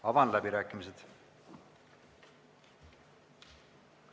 Avan läbirääkimised.